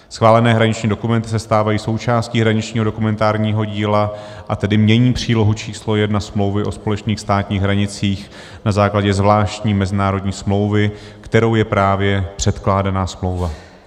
Schválené hraniční dokumenty se stávají součástí hraničního dokumentárního díla, a tedy mění přílohu č. 1 smlouvy o společných státních hranicích na základě zvláštní mezinárodní smlouvy, kterou je právě předkládaná smlouva.